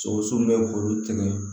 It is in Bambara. Sogo sun bɛ k'olu tɛmɛ